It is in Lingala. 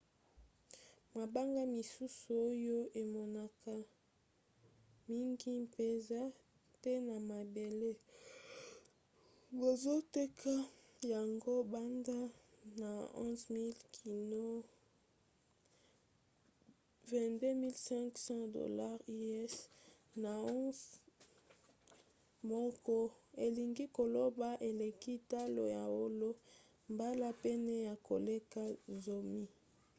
mabanga misusu oyo emonanaka mingi mpenza te na mabele bazoteka yango banda na 11 000 kino 22 500$ us na once moko elingi koloba eleki talo ya wolo mbala pene ya koleka zomi